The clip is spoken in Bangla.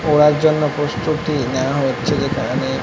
পড়ার জন্য প্রস্তুতি নেওয়া হচ্ছে যেখানে--